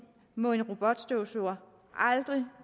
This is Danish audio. må en robotstøvsuger aldrig